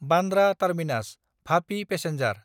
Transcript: बान्द्रा टार्मिनास–भापि पेसेन्जार